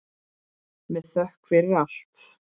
Með þökk fyrir allt.